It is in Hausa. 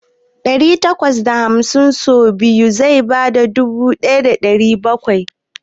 Dari takwas da hamsin so biyu zai bada dubu ɗaya da ɗari bakwai.